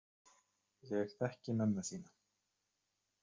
Ég þekki mömmu þína.